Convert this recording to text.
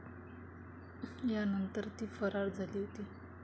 त्यानंतर ती फरार झाली होती.